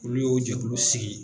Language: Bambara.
Olu y'o jɛkulu sigi